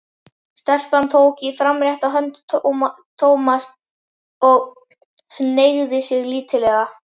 Stelpan tók í framrétta hönd Thomas og hneigði sig lítillega.